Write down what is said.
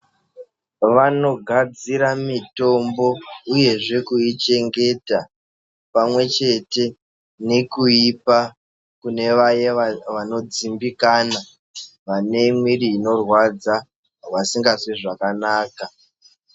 Vanogadzire mitombo uyezve kuichengeta, pamwe chete nekuipa kune vaye vanodzimbikana ,vane mwiiri inorwadza vasingazwi zvakanaka.